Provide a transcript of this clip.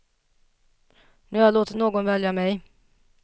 Nu har jag låtit någon välja mig.